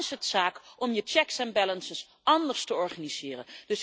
zit. Dan is het zaak om je checks and balances anders te organiseren.